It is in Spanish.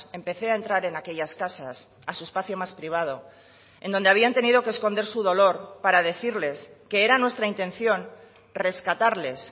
empecé a entrar en aquellas casas a su espacio más privado en donde habían tenido que esconder su dolor para decirles que era nuestra intención rescatarles